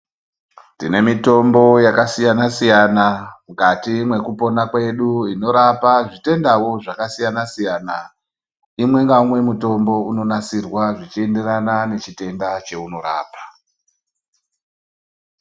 Tine mitombo yakasiyana siyana mukati mwekupona medu inorapa zvitendawo zvakasiyana siyana imwe ngeumwe mutombo unonasirwa zvichienderana nechitenda chaunorapa.